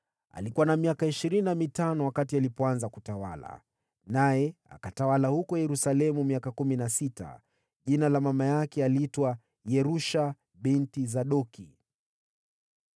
Alikuwa na miaka ishirini na mitano alipoanza kutawala, naye akatawala huko Yerusalemu miaka kumi na sita. Mama yake aliitwa Yerusha binti Sadoki.